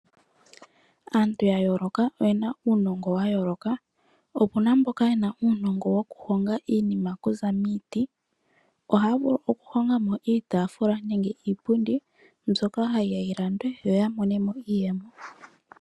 Aantu ya yooloka oye na uunongo wa yooloka. Opu na mboka ye na uunongo wokuhonga iinima okuza miiti. Ohaya vulu okuhonga mo iitaafula nenge iipundi mbyoka hayi ya yi landwe yo ya mone mo iiyemo.